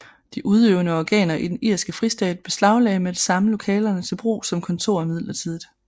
De udøvende organer i den irske fristat beslaglagde med det samme lokalerne til brug som kontorer midlertidigt